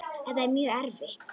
Þetta er mjög erfitt.